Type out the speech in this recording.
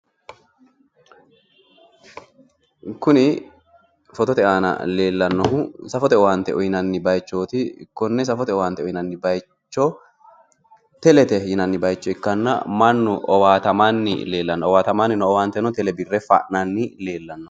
Kuni fotote aana leellannohu safote owaante uyinanni bayichooti. Konne safote owaante uyinanni bayicho telete yinanni bayicho ikkanna mannu owaatamanni leellanno. Owaatamanni noo owaanteno tele birre fa'nanni leellanno.